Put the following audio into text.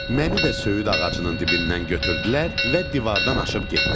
Məni də söyüd ağacının dibindən götürdülər və divardan aşıb getdilər.